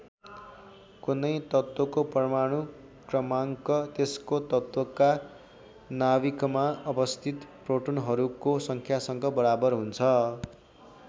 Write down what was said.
कुनै तत्त्वको परमाणु क्रमाङ्क त्यसको तत्त्वका नाभिकमा अवस्थित प्रोटोनहरूको सङ्ख्यासँग बराबर हुन्छ।